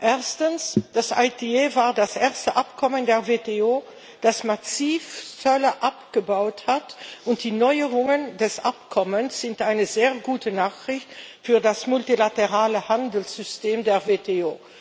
Erstens Das ITA war das erste Abkommen der WTO, das massiv Zölle abgebaut hat, und die Neuerungen des Abkommens sind eine sehr gute Nachricht für das multilaterale Handelssystem der WTO.